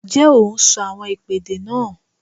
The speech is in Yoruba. Ǹjẹ́ o n sọ àwọn ìpèdè náà?